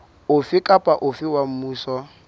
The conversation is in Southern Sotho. ofe kapa ofe wa mmuso